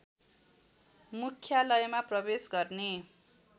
मुख्यालयमा प्रवेश गर्ने